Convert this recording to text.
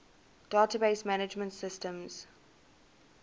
database management systems